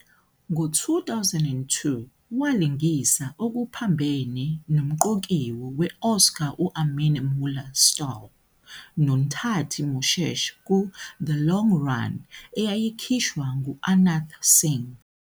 Ngo-2002, walingisa okuphambene nomqokiwe we- Oscar u-Armin Mueller-Stahl noNthati Moshesh ku- "The Long Run", eyayikhishwa ngu- Anant Singh.